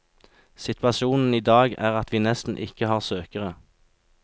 Situasjonen i dag er at vi nesten ikke har søkere.